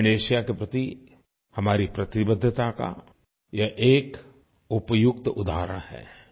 दक्षिणएशिया के प्रति हमारी प्रतिबद्धता का ये एक उपयुक्त उदाहरण है